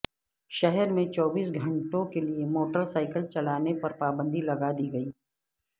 شہر میں چوبیس گھنٹوں کےلیے موٹر سائیکل چلانے پر پابندی لگا دی گئی ہے